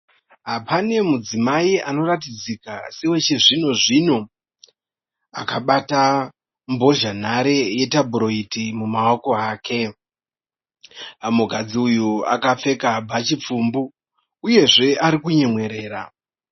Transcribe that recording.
Pane mudzimai anoratidzika sewe chizvino zvino akabata mbozhanhare yetabhuroiti mumaoko ake. Mukadzi uyu akapfeka bhachi pfumbu uyezve ari kunyemwerera.